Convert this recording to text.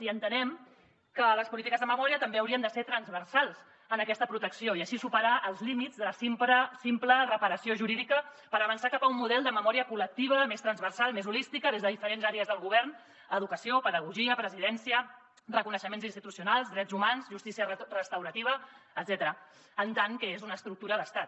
i entenem que les polítiques de memòria també haurien de ser transversals en aquesta protecció i així superar els límits de la simple reparació jurídica per avançar cap a un model de memòria col·lectiva més transversal més holística des de diferents àrees del govern educació pedagogia presidència reconeixements institucionals drets humans justícia restaurativa etcètera en tant que és una estructura d’estat